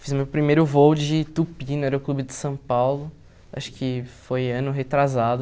Fiz meu primeiro voo de tupi no Aeroclube de São Paulo, acho que foi ano retrasado.